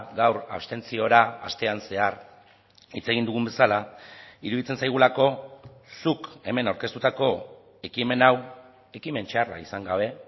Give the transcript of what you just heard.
gaur abstentziora astean zehar hitz egin dugun bezala iruditzen zaigulako zuk hemen aurkeztutako ekimen hau ekimen txarra izan gabe